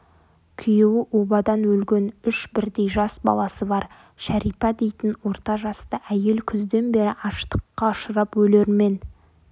күйеуі обадан өлген үш бірдей жас баласы бар шәрипа дейтін орта жасты әйел күзден бері аштыққа ұшырап өлермен